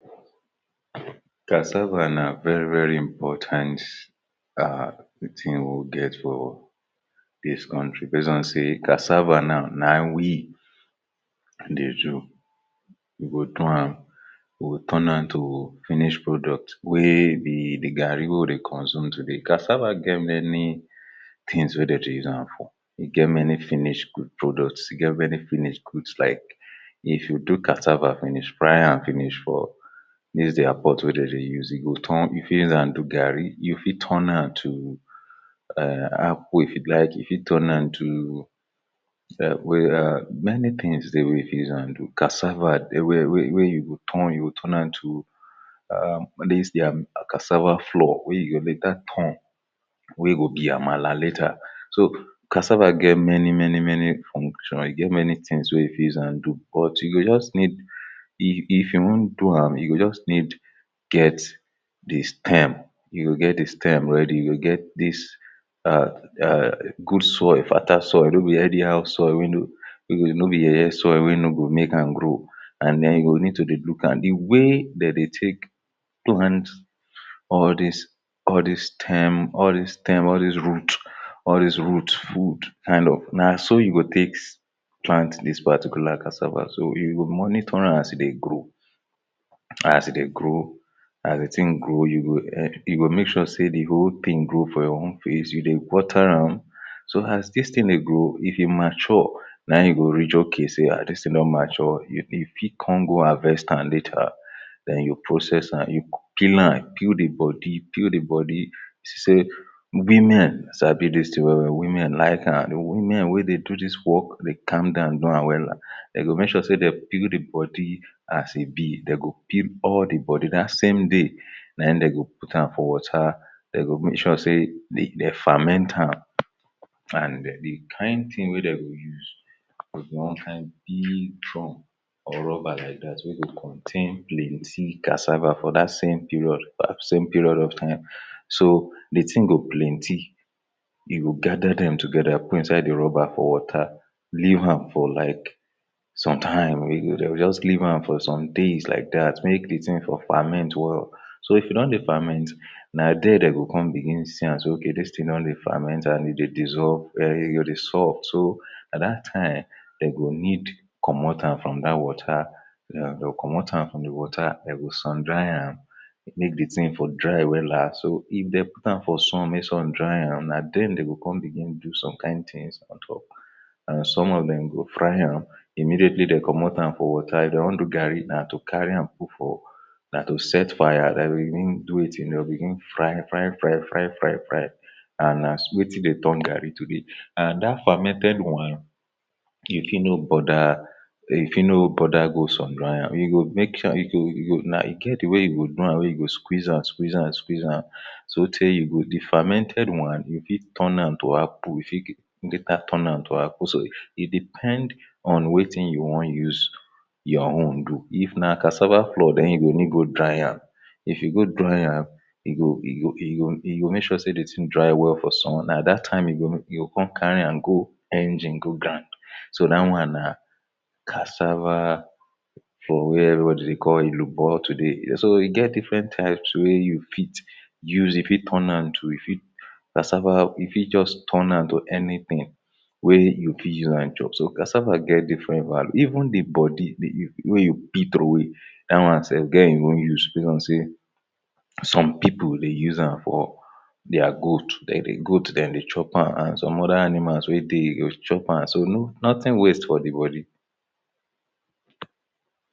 cassava na very very important um thing we get for dis country base on sey cassava na wee dey do we go do am we turn nam to finish product wey the the garri wey we dey consume today, cassava get many things wey de dey usam for e get many finish product, e get many finish goods like if you do cassava finish fryam finish for dis dia pot wey de dey use turn you fit uzam do gari you go turn nam to um akpu if you like you fit turn to um many things dey wey fit uzam do, cassava de wey wey wey you go turn turn nam to um all dis dia cassava flour wey you dey later turn wey go be amala later so cassava get many many many function he get many things wey you fi uzam do but you go just need if-if you wan do am you just need get de stem you go get the stem ready you go get dis um good soil, fertile soil no be any how soil wey no no be yeye soil wey no meykam grow and then you go need to dey lookam de wey de dey take two hand all dis all dis stem all dis stem, all dis root all dis root food kind of, naso you go take plant dis particular cassava, so you go monitoram as e dey grow as e dey grow as the thing grow you um you go make sure sey the whole thing grow for your own face you dey wateram so as dis thing dey grow if e mature nayin you go reach okay a dis thing don mature you fit come go harvestam later den you processam you go pilam, peel the body, peel the body you see sey women sabi dis thing we-we, women like am women wey dey do dis work dey calm down do wam weler dey go make sure sey dey peel the body as e be dey go peel all de body dat same dey nayin de go putam for water dey go make sure sey dey famentam and the kind things wey de go use de go come find the big drum or rubber like dat wey go contain plenty cassava for dat same period for dat same period of time so the thing go plenty e go gather dem together put inside the rubber pour water livam for like sometime dey go just leavam for some days like dat make de thing for ferment well so if e don de ferment na dia de go come begin see am sey okay dis thing don dey ferment and e dey dissolve very very soft so na dat time de go need comot tam from dat water dey comot tam for the water de go sun dryam make the thing for dry weler so, if de putam for sun mey sun dryam na den de go come begin do some kind things on top and some of dem de go fryam immediately de comot tam from water if dey wan do garri na to carryam put for na to set fire den go begin do wetin dem go begin fry-fry fry-fry fry-fry and na see wetin de turn gari to be and um dat fermented one e fit no bother e fit no bother go sun dry am e go make sure e go e go na get de wey e go do wey e go squiz zam, squiz zam, squiz zam so tey you go dey fermented one you fit turn am to akpu you fit later turn am to akpu, so e depend on wetin you wan use your own do, if na cassava flour den you go need go dryam if you go dryam e go, e go, e go e go make sure de thing dry well for sun na dat time you go you go come carryam go engine go grind so dat one na cassava for where everybody dey call elubo today so e get different types wey you fit use you fit turnam to you fit cassava you fit just turnam to anything wey you fit use zam chop, so cassava get different value even the body the wey you peel trowey dat one self get e own use based on sey some people dey use zam for dia goat, de the goat de dey chopam and some other animals we dey chopam, so nothing waste for the body